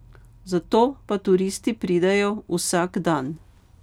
Zato pa turisti pridejo vsak dan.